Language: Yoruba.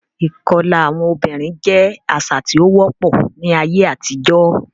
Ìkọlà àwọn obìnrin jẹ́ àṣà tí ó wọ́pọ̀ ní ayé àtijọ́.